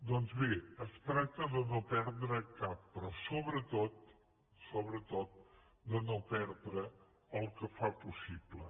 doncs bé es tracta de no perdre’n cap però sobretot sobretot de no perdre el que fa possible